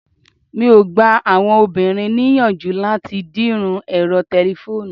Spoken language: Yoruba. mi o gba àwọn obìnrin ni iyanju lati dirun ẹrọ telefonu